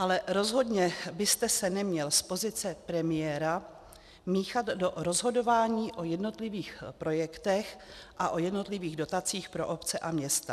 Ale rozhodně byste se neměl z pozice premiéra míchat do rozhodování o jednotlivých projektech a o jednotlivých dotacích pro obce a města.